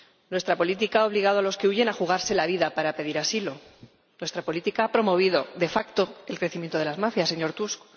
Nuestra política ha obligado a los que huyen a jugarse la vida para pedir asilo. Nuestra política ha promovido de facto el crecimiento de las mafias, señor Tusk.